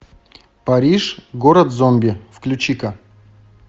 париж город зомби включи ка